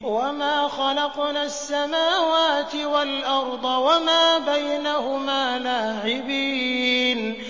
وَمَا خَلَقْنَا السَّمَاوَاتِ وَالْأَرْضَ وَمَا بَيْنَهُمَا لَاعِبِينَ